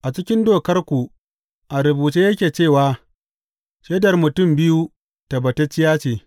A cikin Dokarku a rubuce yake cewa shaidar mutum biyu tabbatacciya ce.